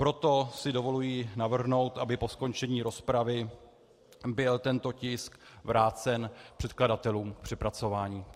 Proto si dovoluji navrhnout, aby po skončení rozpravy byl tento tisk vrácen předkladatelům k přepracování.